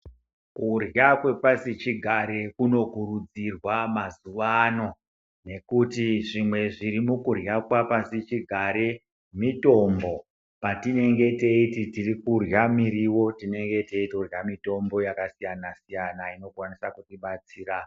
Kurya kwepasi chigare kuno kurudzirwa mazuwano nekuti zvimwe zviri mukurya kwapasi chigare mitombo patinenge teiti tirikurya muriwo tinenge teitorya mitombo yakasiyana siyana unokwanisa kutibatsira.